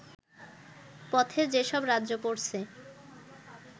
পথে যেসব রাজ্য পড়ছে